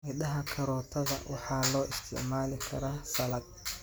Midhaha karootada waxaa loo isticmaali karaa salad.